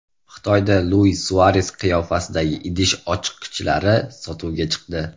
Xitoyda Luis Suares qiyofasidagi idish ochqichlari sotuvga chiqdi.